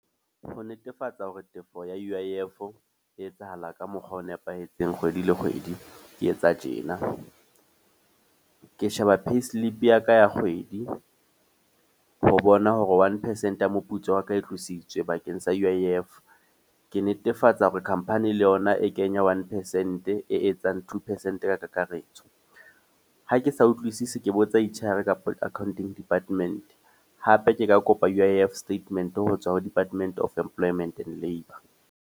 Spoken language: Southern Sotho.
Ho netefatsa hore tefo ya U_I_F e etsahala ka mokgwa o nepahetseng kgwedi le kgwedi, ke etsa tjena. Ke sheba payslip ya ka ya kgwedi, ho bona hore one percent ya moputso wa ka e tlositswe bakeng sa U_I_F. Ke netefatsa hore company le yona e kenya one percent e etsang two percent ka kakaretso. Ha ke sa utlwisisi ke botsa H_R kapa accounting department. Hape ke ka kopa U_I_F statement ho tswa ho Department of Employment and Labour.